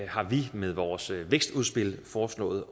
har vi med vores vækstudspil foreslået